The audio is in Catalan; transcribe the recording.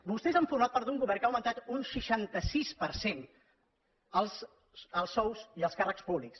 vostès han format part d’un govern que ha augmentat un seixanta sis per cent els sous i els càrrecs públics